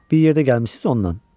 Bir yerdə gəlmisiniz ondan.